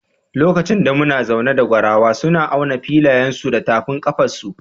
Lokacin da muna zauna da Gwarawa, suna auna filayensu su da tafin kafansu.